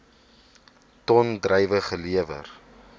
ton druiwe gelewer